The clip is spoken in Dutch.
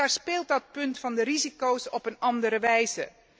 Daar speelt dat punt van risico's op een andere wijze.